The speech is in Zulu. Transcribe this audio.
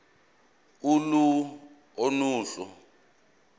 uhlu a nohlu